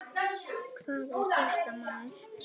Hvað er þetta, maður!